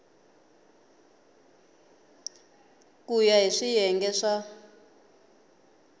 ku ya hi swiyenge swa